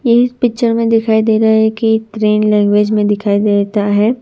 इस पिक्चर में दिखाई दे रहा है की ट्रेन लैंग्वेज में दिखाई देता है।